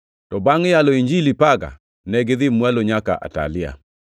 to bangʼ yalo Injili Perga, negidhi mwalo nyaka Atalia.